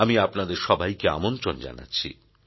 আমি আপনাদের সবাইকে আমন্ত্রণ জানাচ্ছি